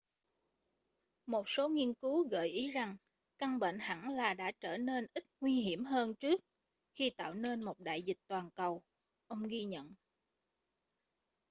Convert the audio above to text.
một số nghiên cứu gợi ý rằng căn bệnh hẳn là đã trở nên ít nguy hiểm hơn trước khi tạo nên một đại dịch toàn cầu ông ghi nhận